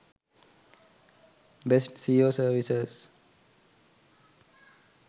best seo services